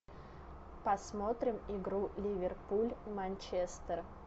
посмотрим игру ливерпуль манчестер